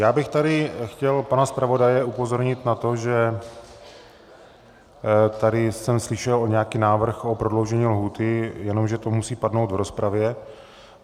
Já bych tady chtěl pana zpravodaje upozornit na to, že tady jsem slyšel nějaký návrh o prodloužení lhůty, jenže to musí padnout v rozpravě.